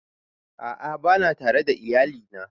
A'a bana tare da iyali na